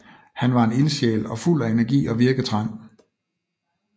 Han var en ildsjæl og fuld af energi og virketrang